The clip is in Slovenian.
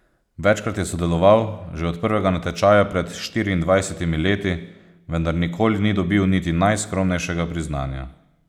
Večkrat je sodeloval, že od prvega natečaja pred štiriindvajsetimi leti, vendar nikoli ni dobil niti najskromnejšega priznanja.